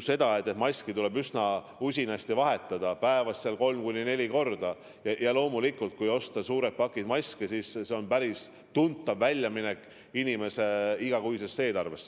selge, et maski tuleb üsna usinasti vahetada, päevas kolm kuni neli korda, ja loomulikult, kui osta suured pakid maske, siis see on päris tuntav väljaminek inimese igakuises eelarves.